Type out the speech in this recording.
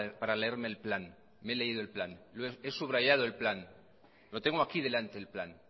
para leerme el plan me he leído el plan he subrayado el plan lo tengo aquí delante el plan